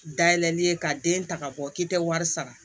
Dayɛlɛli ye ka den ta ka bɔ k'i tɛ wari sara